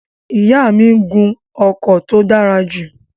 Ìyá mi n gun ọkọ̀ tó dára jù